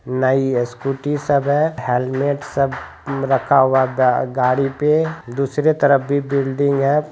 नई स्कूटी सब है हेलमेट सब रखा हुआ है ग-गाड़ी पे दूसरे तरफ भी बिल्डिंग है।